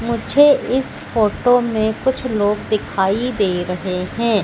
मुझे इस फोटो में कुछ लोग दिखाई दे रहे हैं।